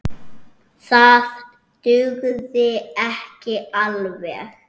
Það dugði ekki alveg.